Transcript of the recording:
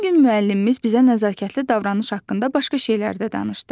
Həmin gün müəllimimiz bizə nəzakətli davranış haqqında başqa şeylər də danışdı.